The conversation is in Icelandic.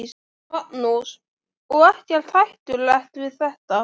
Magnús: Og ekkert hættulegt við þetta?